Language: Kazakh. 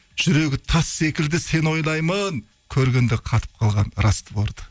жүрегі тас секілді сені ойлаймын көргенде қатып қалған расстворды